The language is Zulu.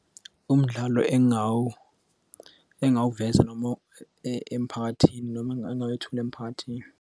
Umdlalo engingawuveza noma emphakathini noma engangawethula emphakathini.